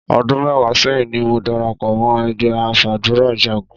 Ọdún mẹ́wàá sẹ́yìn ni mo darapọ̀ mọ́ ẹgbẹ́ afàdúràjagun.